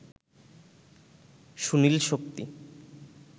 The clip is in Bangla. সুনীল-শক্তি